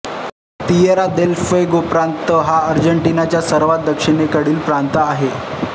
Tierra del Fuego प्रांत हा आर्जेन्टिनाचा सर्वांत दक्षिणेकडील प्रांत आहे